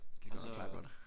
Du skal nok klare det godt